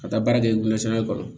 Ka taa baara kɛ kɔnɔ